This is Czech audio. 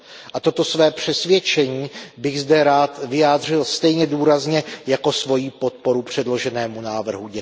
A toto své přesvědčení bych zde rád vyjádřil stejně důrazně jako svoji podporu předloženému návrhu.